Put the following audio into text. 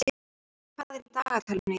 Sölvar, hvað er í dagatalinu í dag?